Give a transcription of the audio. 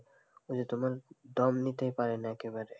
ওই যে তোমার দম নিতে পারে না একেবারে,